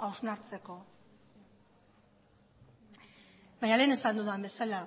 hausnartzeko baina lehen esan dudan bezala